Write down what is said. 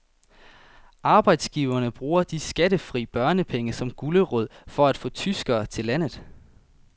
Arbejdsgiverne bruger de skattefri børnepenge som gulerod for at få tyskere til landet.